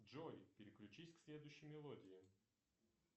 джой переключись к следующей мелодии